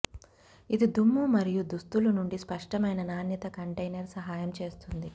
ఇది దుమ్ము మరియు దుస్తులు నుండి స్పష్టమైన నాణ్యత కంటైనర్ సహాయం చేస్తుంది